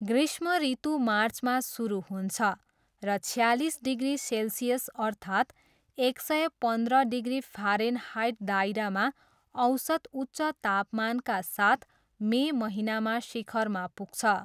ग्रीष्म ऋतु मार्चमा सुरु हुन्छ, र छयालिस डिग्री सेल्सियस अर्थात् एक सय पन्ध्र डिग्री फ्यारेनहाइट दायरामा औसत उच्च तापमानका साथ मे महिनामा शिखरमा पुग्छ।